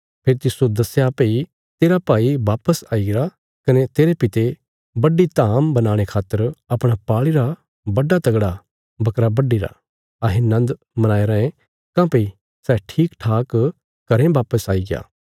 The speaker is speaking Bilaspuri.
फेरी तिस्सो दस्या भई तेरा भाई वापस आई गरा कने तेरे पिता बड्डी धाम बनाणे खातर अपणा पाल़ीरा मोटा जेआ बकरा बड्डीरा अहें नन्द मनाई रायें काँह्भई सै ठीक ठाक घरें वापस आईग्या